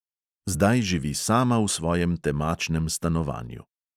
Zdaj živi sama v svojem temačnem stanovanju.